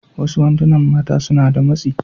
Wasu wandunan mata suna da matsi.